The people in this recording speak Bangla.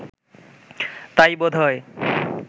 তাই বোধ হয়